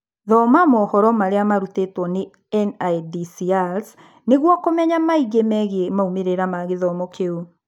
Thoma mohoro marĩa marutĩtwo nĩ NIDCRs nĩguo kũmenya maingĩ megiĩ maumĩrĩra ma gĩthomo kĩu